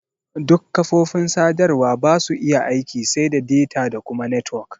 Duk kafofin sadarwa basu iya aiki sai da data da kuma netwok.